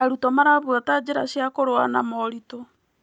Arutwo marabuata njĩra cia kũrũa na moritũ.